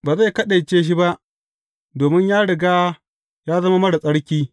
Ba zai kaɗaice shi ba, domin ya riga ya zama marar tsarki.